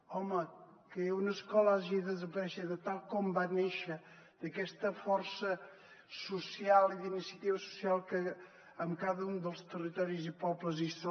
home que una escola hagi de desaparèixer de tal com va néixer d’aquesta força social i d’iniciativa social que en cada un dels territoris i pobles hi és